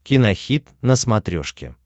кинохит на смотрешке